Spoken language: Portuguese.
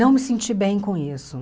Não me senti bem com isso.